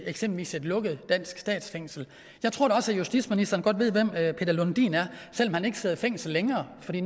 eksempelvis et lukket dansk statsfængsel jeg tror da også at justitsministeren godt ved hvem peter lundin er selv om han ikke sidder i fængsel længere fordi